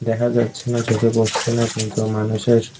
দেখা যাচ্ছে না চোখে পড়ছে না কিন্তু মানুষের--